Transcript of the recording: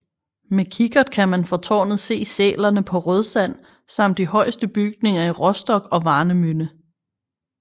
Med kikkert kan man fra tårnet se sælerne på Rødsand samt de højeste bygninger i Rostock og Warnemünde